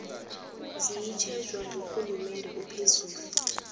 ziyatjhejwa ngurhulumende ophezulu